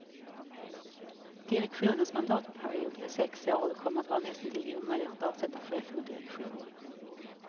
Direktionens mandatperiod är sex år och det kommer vara näst intill omöjligt att avsätta chefen och direktionen.